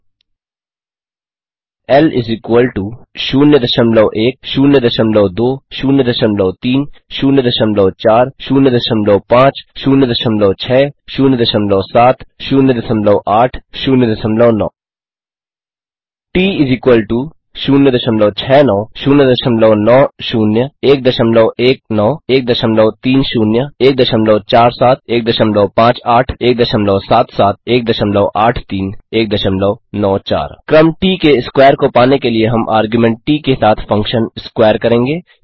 ल 01 02 03 04 0506 07 08 09 T 069 090 119130 147 158 177 183 194 क्रम ट के स्क्वायर को पाने के लिए हम आर्ग्युमेंट ट के साथ फंक्शन स्क्वेयर करेंगे